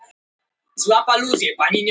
Við skoruðum tvö mörk og héldum hreinu.